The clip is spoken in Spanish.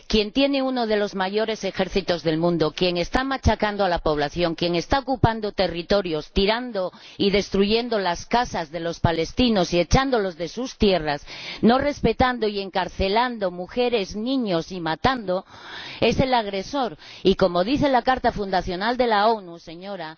Quien tiene uno de los mayores ejércitos del mundo, quien está machacando a la población, quien está ocupando territorios, derribando y destruyendo las casas de los palestinos y echándolos de sus tierras, no respetando y encarcelando a mujeres y niños, así como matando, es el agresor. Y, como dice la Carta fundacional de las Naciones Unidas,